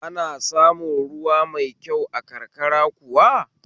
Ana samun ruwan sha mai kyau a karkara kuwa?